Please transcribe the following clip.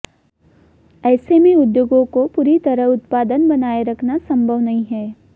ऐसे में उद्योगों को पूरी तरह उत्पादन बनाए रखना संभव नहीं है